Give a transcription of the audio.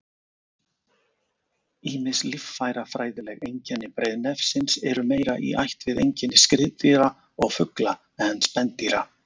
Ýmis líffærafræðileg einkenni breiðnefsins eru meira í ætt við einkenni skriðdýra og fugla en spendýra.